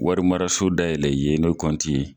Warimaraso dayɛli yene kɔnti ye.